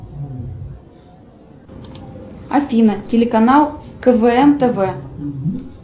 афина телеканал квн тв